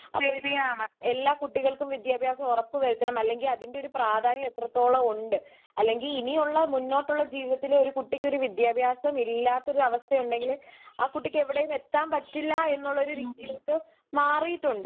എല്ലാ കുട്ടികൾക്കും വിത്യഭ്യാസം ഉറപ്പു വരുത്തണം അല്ലങ്കിൽ അതിന്റെയൊരു പ്രാധാന്യം എത്രത്തോളം ഉണ്ട്. അല്ലങ്കിൽ ഇനിയുള്ള മുന്നോട്ടുള്ള ജീവിതത്തില് വിത്യാഭ്യാസം ഇലാത്ത ഒരവസ്ഥ ഉണ്ടങ്കില് ആ കുട്ടിക്ക് എവിടേം എത്താൻ പറ്റില്ലെന്ന രീതിയിലോട്ട് മാറിയിട്ടുണ്ട്.